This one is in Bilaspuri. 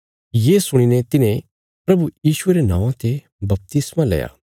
ये सुणीने तिन्हें प्रभु यीशुये रे नौआं ते बपतिस्मा लया